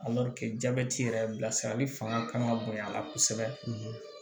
jabɛti yɛrɛ bilasirali fanga ka kan ka bonya a la kosɛbɛ